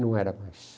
Não era mais.